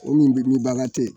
O linburukumu baara tɛ yen